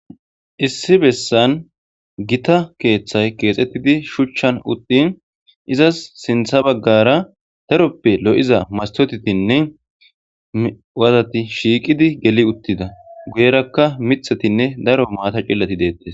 issi bessan gita keeththay keexettidi shuchchan uttin izas sintha baggara daroppe lo7iza mastotetinne waazati shiiqidi geli uttida guyerakka mithetinne daro maata cillati deettes.